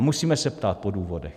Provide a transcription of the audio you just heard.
A musíme se ptát po důvodech.